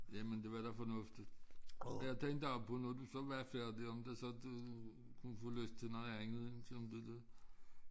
Jamen det var da fornuftigt og jeg tænkte på når du så var færdig om det så du kunne få lyst til noget andet end tænkte du